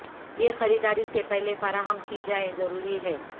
یہ خریداری سے پہلے فراہم کی جائے ضروری ہے